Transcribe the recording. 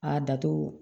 A dato